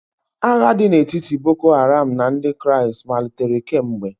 Agha dị n'etiti boko haram na ndị kristi malitere kemgbe.